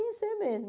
Conhecer mesmo